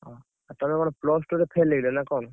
ତମେ କଣ plus two fail ହେଇଗଲ ନା କଣ?